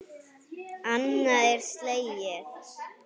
Annað er slegið.